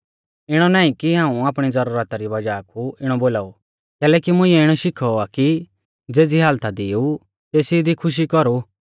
इणौ नाईं कि हाऊं आपणी ज़रुरता री वज़ाह कु इणौ बोलाऊ कैलैकि मुंइऐ इणौ शिखौ आ कि ज़ेज़ै हालता दी ई तेसी दी खुशी कौरु